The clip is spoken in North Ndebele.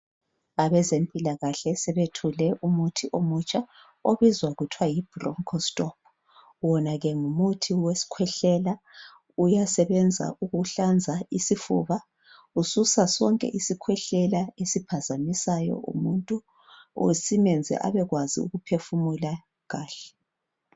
Abezempilakahle sebethule umuthi omutsha obizwa kuthwe yibroncho stop wona ke ngumuthi wesikhwehlela uyasebenza ukuhlanza isifuba ususa sonke isikhwehlela esiphazamisayo umuntu kumbe simenze abe kwazi ukuphefumula kahle.